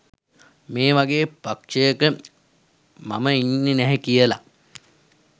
මේ වගේ පක්ෂයක මම ඉන්නෙ නැහැ කියලා